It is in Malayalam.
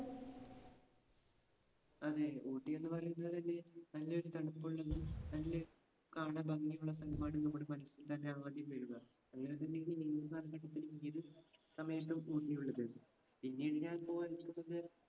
അതെ. ഊട്ടി എന്ന് പറയുന്നതുതന്നെ നല്ലൊരു തണുപ്പുള്ളതും നല്ല കാണാൻ ഭംഗിയുള്ള സ്ഥലമാണ് നമ്മുടെ മനസ്സിൽതന്നെ ആദ്യം വരുന്നത്. സമയത്തു ഊട്ടി ഉള്ളത്. പിന്നെ